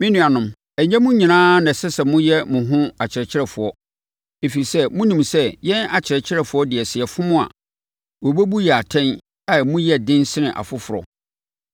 Me nuanom, ɛnyɛ mo nyinaa na ɛsɛ sɛ moyɛ mo ho akyerɛkyerɛfoɔ, ɛfiri sɛ, monim sɛ yɛn akyerɛkyerɛfoɔ deɛ sɛ yɛfom a, wɔbɛbu yɛn atɛn a emu yɛ den sene afoforɔ.